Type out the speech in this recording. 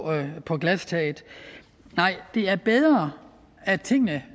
på glastaget nej det er bedre at tingene